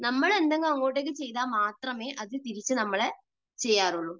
നമ്മൾ എന്തെങ്കിലും അങ്ങോട്ടേക്ക് ചെയ്താൽ മാത്രമേ അത് തിരിച്ച് നമ്മളെ ചെയ്യാറുള്ളൂ.